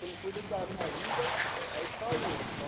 Quem cuida da minha vida aí só eu, então...